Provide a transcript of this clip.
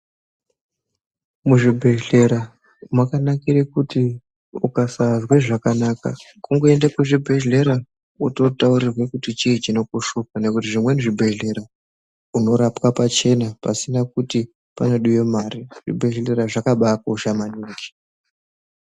Muzvibhehlera mwakanakira kuti ukasazwe zvakanaka kungoende kuzvibhehlera wototaurirwe kuti chii chinokushupa nekuti zvimweni zvibhehlera unorapwe pachena pasina kuti panodiwe mare ,zvibhehlera zvakabakosha maningi.